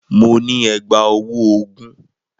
Mo ní ẹ̀gbá-ọwọ́ ogún.